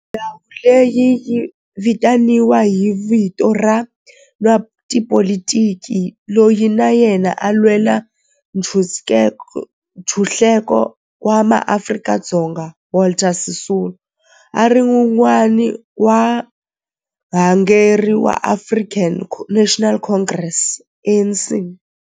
Ndhawo leyi yi vitaniwa hi vito ra n'watipolitiki loyi na yena a lwela ntshuxeko wa maAfrika-Dzonga Walter Sisulu, a ri wun'wana wa varhangeri va African National Congress ANC.